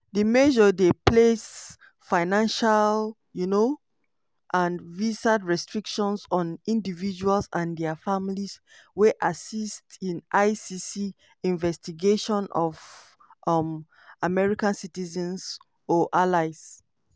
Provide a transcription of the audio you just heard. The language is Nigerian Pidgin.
di measure dey place financial um and visa restrictions on individuals and dia families wey assist in icc investigations of um american citizens or allies.